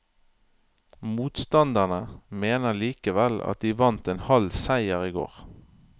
Motstanderne mener likevel at de vant en halv seier i går.